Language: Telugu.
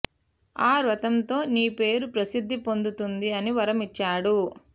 ఆ వ్రతంతో నీ పేరు ప్రసిద్ధి పొందుతుంది అని వరం ఇచ్చాడు